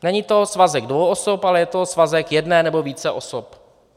Není to svazek dvou osob, ale je to svazek jedné nebo více osob.